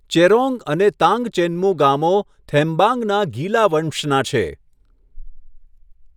ચેરોંગ અને તાંગચેન્મુ ગામો થેમ્બાંગના ગીલા વંશના છે.